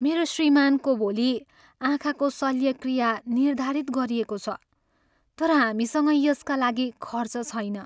मेरो श्रीमानको भोलि आँखाको शल्यक्रिया निर्धारित गरिएको छ तर हामीसँग यसका लागि खर्च छैन।